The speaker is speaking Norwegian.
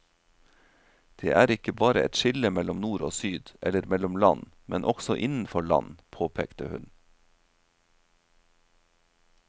Det er ikke bare et skille mellom nord og syd, eller mellom land, men også innenfor land, påpekte hun.